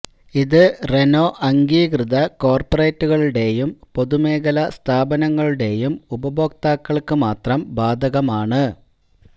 ഇത് റെനോ അംഗീകൃത കോർപ്പറേറ്റുകളുടെയും പൊതുമേഖലാ സ്ഥാപനങ്ങളുടെയും ഉപഭോക്താക്കൾക്ക് മാത്രം ബാധകമാണ്